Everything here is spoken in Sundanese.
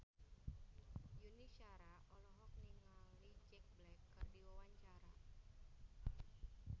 Yuni Shara olohok ningali Jack Black keur diwawancara